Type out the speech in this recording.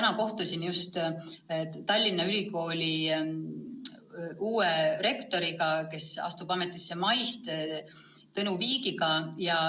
Ma kohtusin täna Tallinna Ülikooli uue rektori Tõnu Viigiga, kes astub ametisse mais.